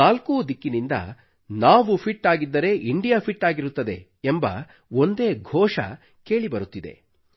ನಾಲ್ಕೂ ದಿಕ್ಕಿನಿಂದ ನಾವು ಫಿಟ್ ಆಗಿದ್ದರೆ ಇಂಡಿಯಾ ಫಿಟ್ ಆಗಿರುತ್ತದೆ ಎಂಬ ಒಂದೇ ಘೋಷ ಕೇಳಿಬರುತ್ತಿದೆ